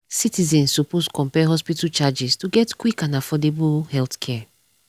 citizens suppose compare hospital charges to get quick and affordable healthcare.